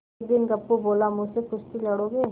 एक दिन गप्पू बोला मुझसे कुश्ती लड़ोगे